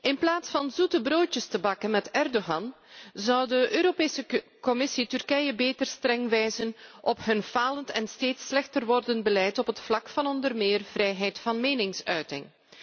In plaats van zoete broodjes te bakken met Erdogan zou de Europese Commissie Turkije beter streng wijzen op hun falend en steeds slechter wordend beleid op het vlak van onder meer vrijheid van meningsuiting.